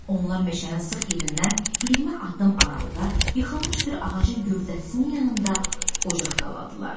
Onlar meşənin sıx yerindən 20 addım aralıda yıxılmış bir ağacın gövdəsinin yanında ocaq qaldılar.